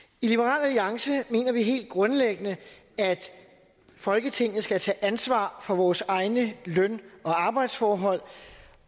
i liberal alliance mener vi helt grundlæggende at folketinget skal tage ansvar for vores egne løn og arbejdsforhold